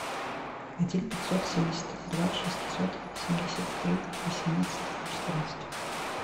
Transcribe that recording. один пятьсот семьдесят два шестьсот семьдесят три восемнадцать четырнадцать